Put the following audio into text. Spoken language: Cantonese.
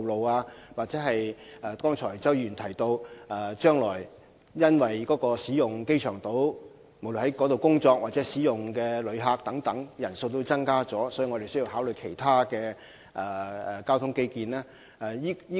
又或如周議員剛才指出，鑒於將來在機場島工作和使用機場島的旅客人數將會增加，局方是否應考慮進行其他交通基建項目呢？